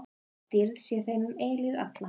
Dýrð sé þeim um eilífð alla.